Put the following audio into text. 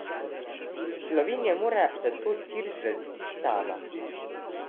Slovenija mora zato tir zgraditi sama.